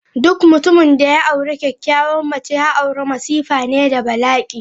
Duk mutumin da ya aure kyakyawan mace, ya aure masifa ne da bala'i.